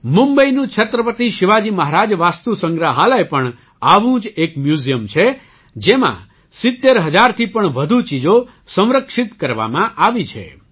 મુંબઈનું છત્રપતિ શિવાજી મહારાજ વાસ્તુ સંગ્રહાલય પણ આવું જ એક મ્યૂઝિયમ છે જેમાં 70 હજારથી વધુ ચીજો સંરક્ષિત કરવામાં આવી છે